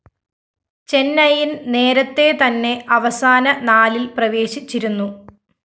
ചെന്നൈയിന്‍ നേരത്തെ തന്നെ അവസാന നാലില്‍ പ്രവേശിച്ചിരുന്നു